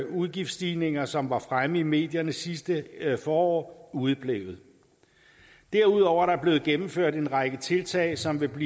udgiftsstigninger som var fremme i medierne sidste forår udeblevet derudover er der blevet gennemført en række tiltag som vil